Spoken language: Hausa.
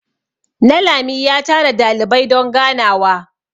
nalami ya tara dalibai don ganawa